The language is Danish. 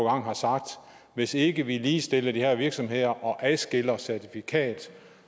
har sagt at hvis ikke vi ligestiller de her virksomheder og adskiller certifikat